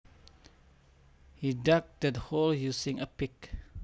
He dug that hole using a pick